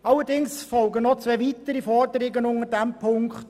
Allerdings folgen noch zwei weitere Forderungen unter diesem Punkt: